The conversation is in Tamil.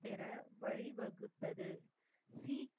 பெற வழிவகுத்தது. சீ